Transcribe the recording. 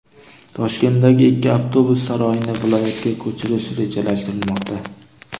Toshkentdagi ikki avtobus saroyini viloyatga ko‘chirish rejalashtirilmoqda.